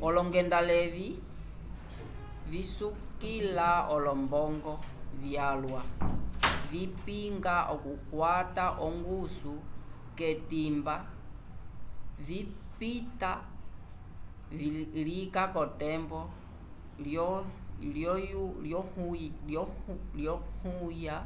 olongendaleyi visukila olombongo vyalwa vipinga okukwata ongusu k'etimba vipita lika k'otembo lyohuya